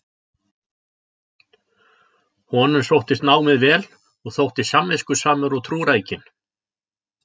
Honum sóttist námið vel og þótti samviskusamur og trúrækinn.